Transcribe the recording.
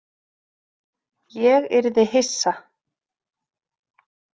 Ég yrði hissa.